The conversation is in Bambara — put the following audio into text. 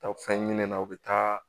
Taa fɛn ɲinɛni na u bɛ taa